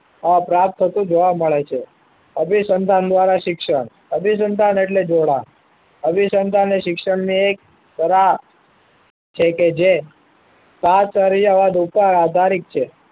પ્રાપ્ત થતું જોવા મળે છે અભિસંધાન દ્વારા શિક્ષણ અભિસંધાન એટલે જોડાણ અભિસંધાન એ શિક્ષણની એક કલા છે કે જે સાત સળિયાવાળા દોષા આધારિત છે